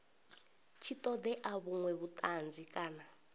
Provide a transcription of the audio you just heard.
tshi ṱoḓea vhuṅwe vhuṱanzi kana